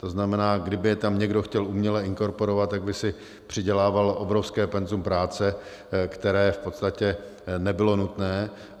To znamená, kdyby je tam někdo chtěl uměle inkorporovat, tak by si přidělával obrovské penzum práce, které v podstatě nebylo nutné.